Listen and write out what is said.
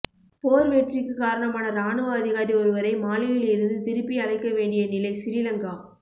போர் வெற்றிக்குக் காரணமான இராணுவ அதிகாரி ஒருவரை மாலியில் இருந்து திருப்பி அழைக்க வேண்டிய நிலை சிறிலங்கா